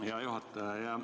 Hea juhataja!